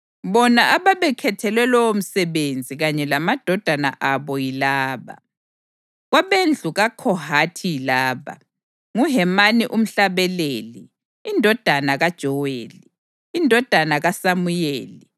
Bona ababekhethelwe lowomsebenzi kanye lamadodana abo yilaba: Kwabendlu kaKhohathi yilaba: nguHemani umhlabeleli, indodana kaJoweli, indodana kaSamuyeli